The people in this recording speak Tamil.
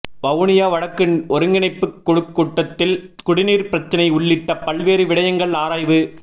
வவுனியா வடக்கு ஒருங்கிணைப்புக் குழுக் கூட்டத்தில் குடிநீர் பிரச்சனை உள்ளிட்ட பல்வேறு விடயங்கள் ஆராய்வு